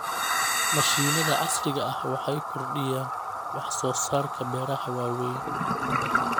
Mashiinada casriga ah waxay kordhiyaan wax soo saarka beeraha waaweyn.